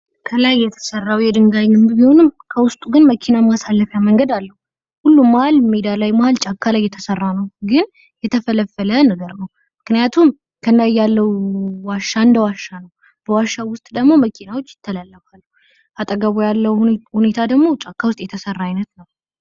ከላይ የተሰራው የድንጋይ ግንብ ቢሆንም ከውስጡ ግን መኪና ማሳለፊያ መንገድ አለው። ሁሉም መሀል ጫካ መሀል ጫካ ላይ የተሰራ ነው። ግን የተፈለፈለ ነገር ነው። ምክንያቱም ከላይ ያለው ዋሻ እንደ ዋሻ ነው። በዋሻው ውስጥ ደግሞ መኪኖች ይተላለፋሉ። አጠገቡ ያለው ሁኔታ ደግሞ ጫካ ውስጥ የተሰራ አይነት ነው።